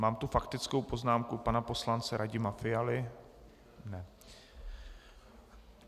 Mám tu faktickou poznámku pana poslance Radima Fialy?